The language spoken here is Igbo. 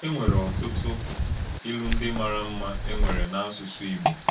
E nwèrè ọ̀tùtù ìlù ndí màrà mma e nwèrè n’ásụ̀sụ̀ Ìgbò.